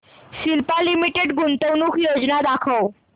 Cipla limited गुंतवणूक योजना दाखव